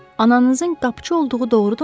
Ananızın qapıçı olduğu doğrudurmu?